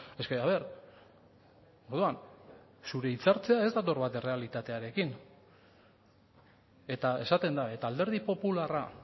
es que a ver orduan zure hitzartzea ez dator bat errealitatearekin eta esaten da eta alderdi popularra